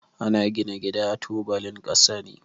Ana gina gida da tubalin kasa ne.